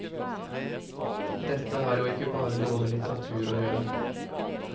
Dette har jo ikke bare noe med litteratur å gjøre.